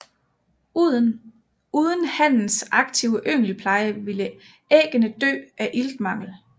Uden hannens aktive yngelpleje ville æggene dø af iltmangel